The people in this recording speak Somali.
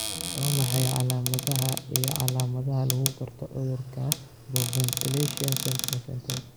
Waa maxay calamadaha iyo calaamadaha lagu garto cudurka hypoventilation Central Central?